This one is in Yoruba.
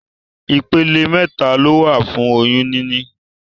Ìpele mẹta lowa fún oyún níní